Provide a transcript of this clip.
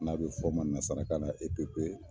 N'a be f'o ma nasarakan na epepe